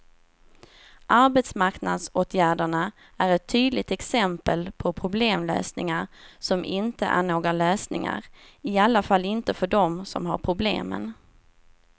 Arbetsmarknadsåtgärderna är ett tydligt exempel på problemlösningar som inte är några lösningar, i alla fall inte för dem som har problemen.